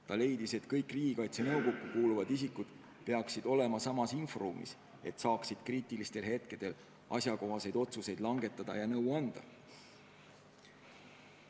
Ta leidis, et kõik Riigikaitse Nõukokku kuuluvad isikud peaksid olema samas inforuumis, et oleks võimalik kriitilistel hetkedel asjakohaseid otsuseid langetada ja nõu anda.